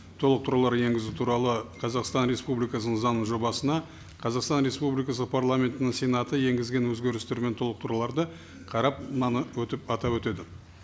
толықтырулар енгізу туралы қазақстан республикасының заңының жобасына қазақстан республикасы парламентінің сенаты енгізген өзгерістер мен толықтыруларды қарап мынаны өтіп атап өтеді